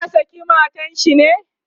ya saki matan shi ne?